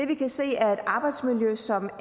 vi kan se er et arbejdsmiljø som